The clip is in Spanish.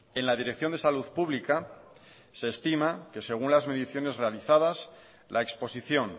en la dirección de salud pública se estima que según las mediciones realizada la exposición